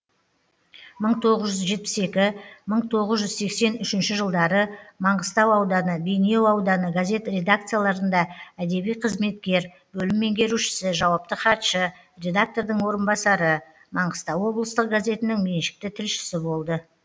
мың тоғыз жүз жетпіс екі мың тоғыз жүз сексен үшінші жылдары маңғыстау ауданы бейнеу ауданы газет редакцияларында әдеби қызметкер бөлім меңгерушісі жауапты хатшы редактордың орынбасары маңғыстау облыстық газетінің меншікті тілшісі болды